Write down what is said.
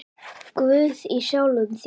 Guð í sjálfum þér.